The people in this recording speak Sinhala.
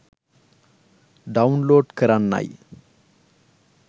ඩවුන්ලෝඩ් කරන්නයි